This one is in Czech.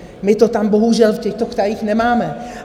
My to tam bohužel v těchto krajích nemáme.